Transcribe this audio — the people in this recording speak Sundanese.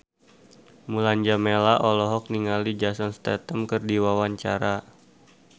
Mulan Jameela olohok ningali Jason Statham keur diwawancara